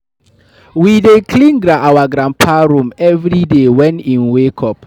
We dey clean our granpa room everyday wen im wake up.